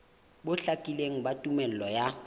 bo hlakileng ba tumello ya